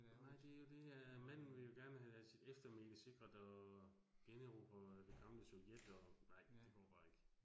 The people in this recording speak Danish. Nej det jo det, at manden vil jo gerne have sit eftermæle sikret, og generobret det gamle Sovjet, og. Nej, det går bare ikke